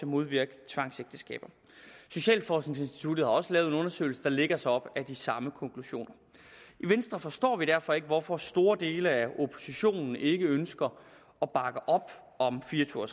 modvirke tvangsægteskaber socialforskningsinstituttet har også lavet en undersøgelse der lægger sig op ad de samme konklusioner i venstre forstår vi derfor ikke hvorfor store dele af oppositionen ikke ønsker at bakke op om fire og